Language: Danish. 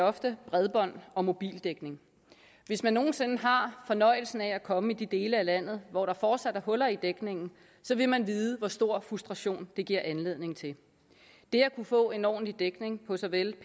ofte bredbånd og mobildækning hvis man nogen sinde har fornøjelsen af at komme i de dele af landet hvor der fortsat er huller i dækningen så vil man vide hvor stor en frustration det giver anledning til det at kunne få en ordentlig dækning på såvel